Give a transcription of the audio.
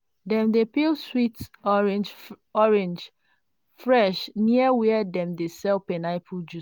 dem dey peel sweet orange orange fresh near where dem dey sell pineapple juice.